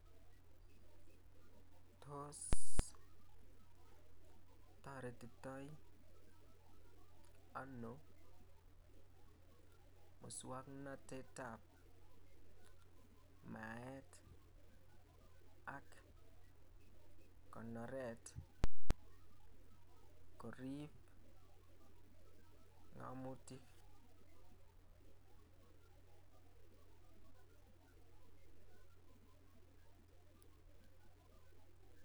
Tos taretii toi ano musangnatet ab maet et ak konoret koriib ngamuntiik